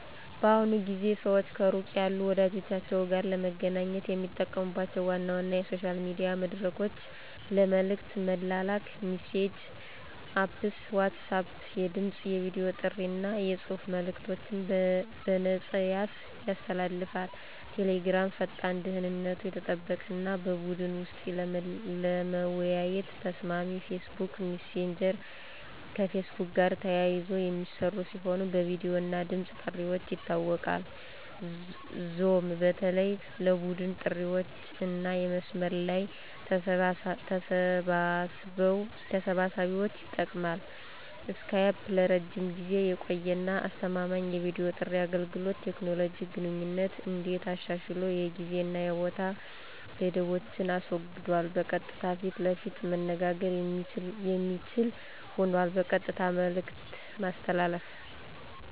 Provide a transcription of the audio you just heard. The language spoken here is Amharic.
በአሁኑ ጊዜ ሰዋች ከሩቅ ያሉ ወዳጀቻችዉ ጋር ለመገናኘት የሚጠቀሙባቸው ዋና ዋና የሶሻል ሚዲያ መድረኮች ለመልእክት መላላክ (messaging Apps) WhatsApp የድምፅ፣ የቨዲ ጥሪ አና የጽሑፍ መልእከቶችን በነፃያሰ ያስተላልፋል። Telegram ፈጣን፣ ደህንነቱ የተጠበቀ አና በቡድን ወሰጥ ለመወያየት ተሰማሚ። Facebook messager ከፌስቡክ ጋር ተያይዘ የሚስራ ሲሆን በቪዲዮ እና ድምፅ ጥርዋች ይታወቃል። zoom በተለይ ለቡድን ጥሪዋችአና የመስመር ለይ ተሰብሳቢዎች ይጠቅማል። skype ለረጅም ጊዜ የቆየ አና አስተማማኝ የቪዲዮ ጥሪ አገልገሎት። ቴኮኖሎጂ ግንኙነትን እንዴት አሻሽሏል የጊዜ አና የቦታ ገደቦችን አስወግዷል በቀጥታ ፈት ለፈት መነጋገር የሚችል ሆኗል። በቀጥታ መልእክት ማስተላለፍ